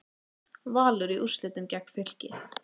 Valur í úrslitin gegn Fylki